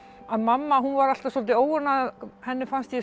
að mamma var alltaf svolítið óánægð að henni fannst ég